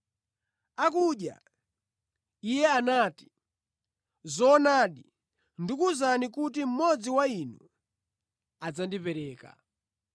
Akudya, Iye anati, “Zoonadi, ndikuwuzani kuti mmodzi wa inu adzandipereka.”